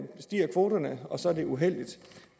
stiger kvoterne og så er det uheldigt